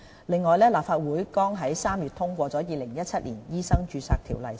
另外，立法會剛於3月通過《2017年醫生註冊條例草案》。